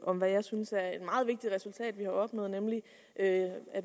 om hvad jeg synes er et meget vigtigt resultat vi har opnået nemlig at